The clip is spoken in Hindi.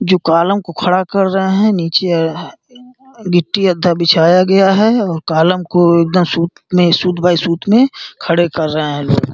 जो कालम को खड़ा कर रहे हैं। नीचे गिट्टी अद्धा बिछाया गया है और कालम को एकदम सूत बाई सूत में खड़े कर रहे हैं लोग।